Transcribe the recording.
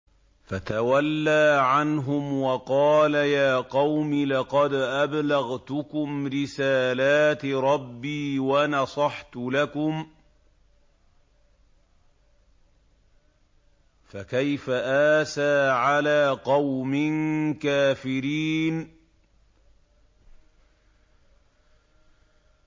فَتَوَلَّىٰ عَنْهُمْ وَقَالَ يَا قَوْمِ لَقَدْ أَبْلَغْتُكُمْ رِسَالَاتِ رَبِّي وَنَصَحْتُ لَكُمْ ۖ فَكَيْفَ آسَىٰ عَلَىٰ قَوْمٍ كَافِرِينَ